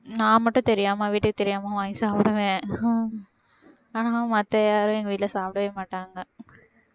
நான் மட்டும் தெரியாம வீட்டுக்கு தெரியாம வாங்கி சாப்பிடுவேன் ஆனா மத்த யாரும் எங்க வீட்டுல சாப்பிடவே மாட்டாங்க